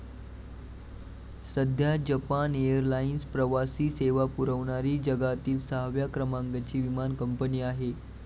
सध्या Japan airlines प्रवासी सेवा पुरवणारी जगातिल सहाव्या क्रमांकाची विमान कंपनी आहे.